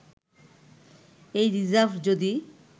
এই রিজার্ভ যদি